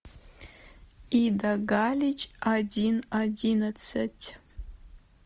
ида галич один одиннадцать